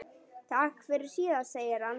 Takk fyrir síðast, segir hann.